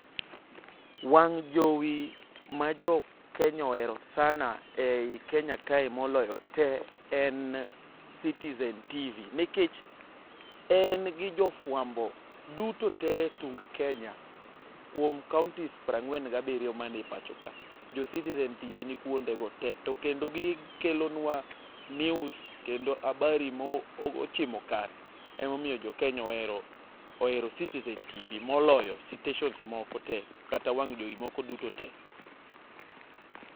Wang' jowi ma jo Kenya ohero sana ei Kenya kae moloyo te en Citizen tv nikech en gi jo fuambo duto te etung Kenya kuom kaounti piero ang'wen gabiriyo man e pacho ka. Jo Citizen tv nikuondego te to kendo gikelonua news kendo habari ma ochimo kare ema omiyo jo Kenya ohero citizen tv moloyo sitesen moko te kata wang' jowi moko duto te.